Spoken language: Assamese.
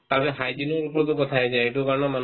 তাৰপাছত hygiene ৰ ওপৰতো কথা আহি যায় এইটো কাৰণেও মানুহ